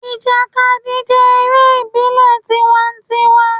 Ìjàkadì jé eré ìbílè tiwantiwan